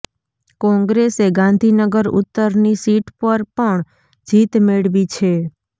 કોંગ્રેસે ગાંધીનગર ઉત્તરની સીટ પર પણ જીત મેળવી છે